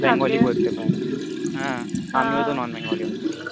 Bengali পড়তে পারে আমিও তো Non Bengali হচ্ছি